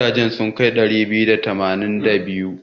Gidajen sun kai ɗari biyu da tamanin da biyar?